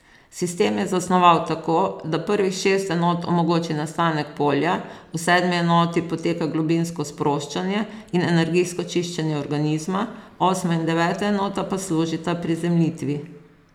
Sistem je zasnoval tako, da prvih šest enot omogoči nastanek polja, v sedmi enoti poteka globinsko sproščanje in energijsko čiščenje organizma, osma in deveta enota po služita prizemljitvi.